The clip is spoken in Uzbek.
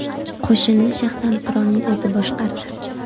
Qo‘shinni shaxsan qirolning o‘zi boshqardi.